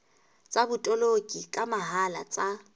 tsa botoloki ka mohala tsa